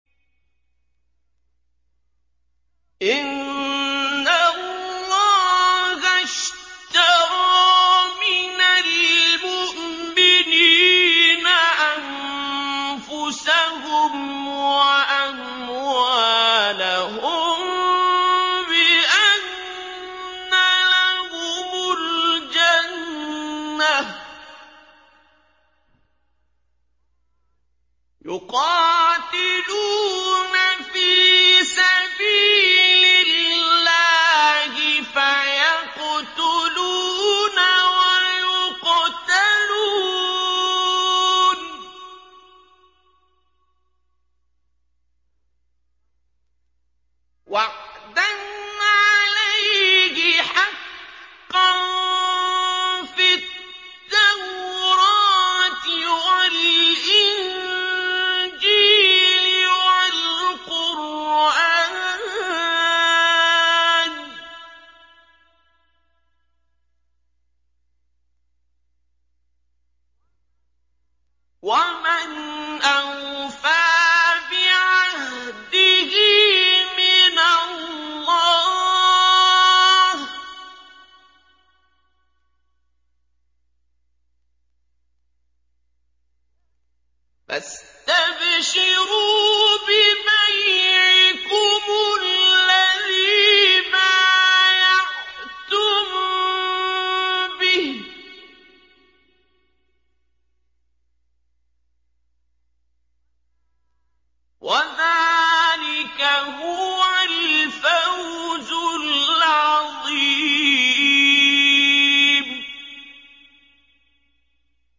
۞ إِنَّ اللَّهَ اشْتَرَىٰ مِنَ الْمُؤْمِنِينَ أَنفُسَهُمْ وَأَمْوَالَهُم بِأَنَّ لَهُمُ الْجَنَّةَ ۚ يُقَاتِلُونَ فِي سَبِيلِ اللَّهِ فَيَقْتُلُونَ وَيُقْتَلُونَ ۖ وَعْدًا عَلَيْهِ حَقًّا فِي التَّوْرَاةِ وَالْإِنجِيلِ وَالْقُرْآنِ ۚ وَمَنْ أَوْفَىٰ بِعَهْدِهِ مِنَ اللَّهِ ۚ فَاسْتَبْشِرُوا بِبَيْعِكُمُ الَّذِي بَايَعْتُم بِهِ ۚ وَذَٰلِكَ هُوَ الْفَوْزُ الْعَظِيمُ